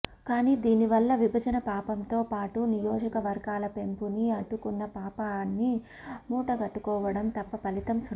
కానీ దీని వల్ల విభజన పాపంతో పాటు నియోజకవర్గాల పెంపుని అడ్డుకున్న పాపాన్ని మూటగట్టుకోవడం తప్ప ఫలితం సున్నా